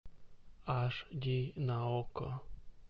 аш ди на окко